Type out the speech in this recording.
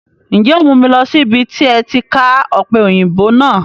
Ǹjẹ́ o mu mi lọ síbi tí ẹ ti ká Ọpẹ́yinbo náà?